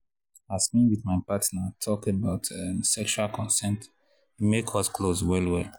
as me with my partner talk about um sexual consent e come make us close well well.